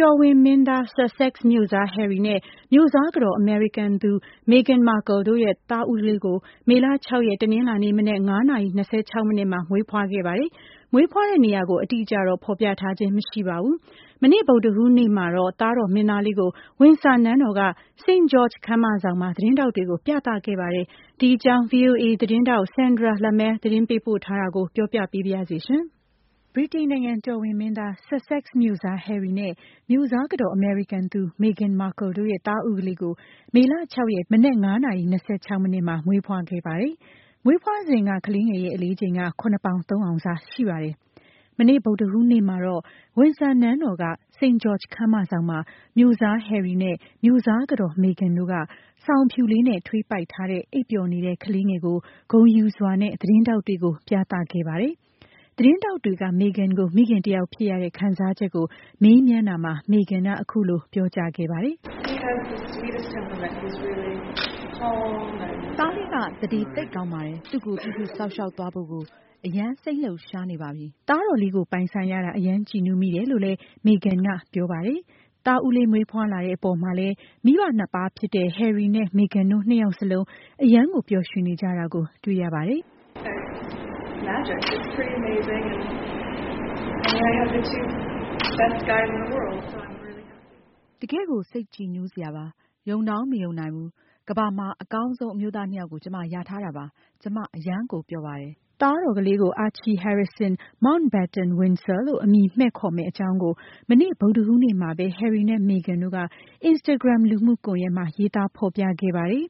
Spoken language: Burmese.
တော်ဝင်မင်းသား Sussex မြို့စား Harry နဲ့ မြို့စားကတော် အမေရိကန်သူ Meghan Markle တို့ ရဲ့ သားဦးလေးကို မေလ ၆ ရက် တနင်္လာနေ့ မနက် ၅ နာရီ ၂၆ မိနစ်မှာ မွေးဖွားခဲ့ပါတယ်။ မွေးဖွားတဲ့ နေရာကိုတော့ အတိအကျ ဖော်ပြခြင်း မရှိပါဘူး။ မနေ့ ဗုဒ္ဓဟူး နေ့မှာတော့ သားတော် မင်းသားလေးကို ဝင်ဆာနန်းတော် က St. George ခန်းမဆောင်မှာ သတင်းထောက်တွေကို ပြသခဲ့ပါတယ်။ ဒီအကြောင်း VOA သတင်းထောက် Sandra Lemaire သတင်းပေးပို့ထားတာကို မမြသဇင်အောင် က ပြောပြပေးပါမယ်။ ဗြိတိန်နိုင်ငံ တော်ဝင်မင်းသား Sussex မြို့စား Harry နဲ့ မြို့စားကတော် အမေရိကန်သူ Meghan Markle တို့ရဲ့ သားဦးလေးကို မေလ ၆ ရက် တနင်္လာနေ့က ဖွားမြင်ခဲ့ပြီး မွေးဖွားစဉ် ကလေးငယ်ရဲ့ အလေးချိန်က ၇ ပေါင် ၃ အောင်စ ရှိပါတယ်။ မနေ့ ဗုဒ္ဓဟူးနေ့ မှာတော့ ဝင်ဆာနန်းတော်က St. George ခန်းမဆောင်မှာ မြို့စား Harry နဲ့ မြို့စားကတော် Meghan တို့က စောင်အဖြူလေး နဲ့ထွေးပိုက်ထားတဲ့အိပ်ပျော်နေတဲ့ ကလေးငယ်ကို သတင်းထောက်တွေကို ဂုဏ်ယူစွာနဲ့ ပြသခဲ့ပါတယ်။ သတင်းထောက်တွေက Meghan ကို မိခင်တယောက်ဖြစ်ရတဲ့ အပေါ်မေးမြန်းတာမှာ Meghan က “ သားလေးက သန္ဓေ သိပ်ကောင်းပါတယ်။ သူ့ကို ပြုစုစောင့်ရှောက် သွားဖို့ကို အရမ်း စိတ်လှုပ်ရှားနေပါပြီ။ ” သားတော်လေးကို ပိုင်ဆိုင်ရတာ အရမ်း ကြည်နူးမိတယ်လို့ လည်း Meghan က ပြောပါတယ်။ သားဦးလေး မွေးဖွားလာတဲ့ အပေါ်မှာလည်း မိဘ နှစ်ပါးဖြစ်တဲ့ Harry နဲ့ Meghan တို့ နှစ်ယောက်လုံး အရမ်းကို ပျော်ရွှင်နေကြတာကို တွေ့ရပါတယ်။ “ တကယ်ကို စိတ်ကြည်နူးစရာပါ။ ယုံတောင်မယုံနိုင်ဘူး။ ကမ္ဘာမှာ အကောင်းဆုံး အမျိုးသား ၂ ယောက်ကို ကျွန်မ ရထားတာပါ။ ကျွန်မ အရမ်းကို ပျော်ပါတယ်။ ” သားတော်လေး ကို Archie Harrison Mountbatten-Windsor လို့ အမည်မှည့်ခေါ်မယ့် အကြောင်းကို မနေ့ ဗုဒ္ဓဟူးနေ့မှာ ပဲ Harry နဲ့ Meghan တို့က Instagram လူမှုကွန်ယက် မှာ ရေးသား ဖော်ပြခဲ့ပါတယ်